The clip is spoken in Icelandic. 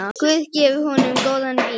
Guð gefi honum góðan byr.